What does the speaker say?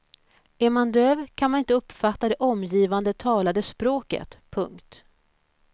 Är man döv kan man inte uppfatta det omgivande talade språket. punkt